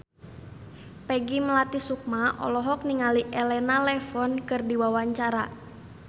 Peggy Melati Sukma olohok ningali Elena Levon keur diwawancara